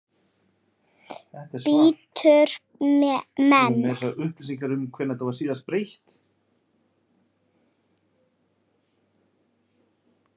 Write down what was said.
Bítur menn?